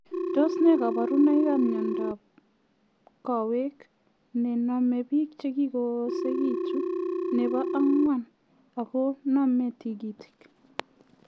Tos nee kabarunoik ap miondaap Kowek nenomee piik chekakoosekitu nepo angwan akonamee tigitik